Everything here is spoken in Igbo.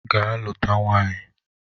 Ga luta nwaanyị!